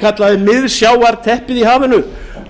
kallaði miðsjávarteppið í hafinu